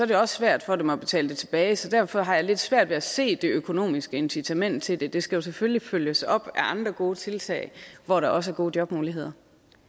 det også svært for dem at betale det tilbage så derfor har jeg lidt svært ved at se det økonomiske incitament til det det skal jo selvfølgelig følges op af andre gode tiltag hvor der også er gode jobmuligheder